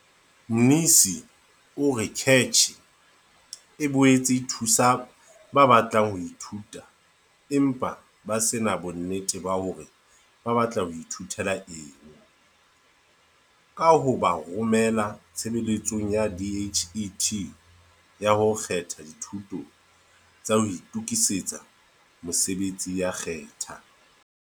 Mnisi o re CACH e boetse e thusa ba batlang ho ithuta empa ba se na bonnete ba hore ba batla ho ithutela eng ka ho ba romela Tshebeletsong ya DHET ya ho kgetha Dithuto tsa ho Itokisetsa Mosebetsi ya Khetha.